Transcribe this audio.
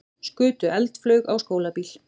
Skutu eldflaug á skólabíl